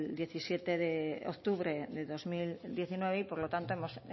diecisiete de octubre de dos mil diecinueve y por lo tanto hemos